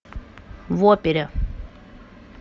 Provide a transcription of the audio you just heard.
в опере